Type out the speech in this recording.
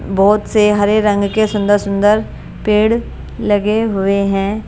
बहुत से हरे रंग के सुंदर-सुंदर पेड़ लगे हुए हैं ।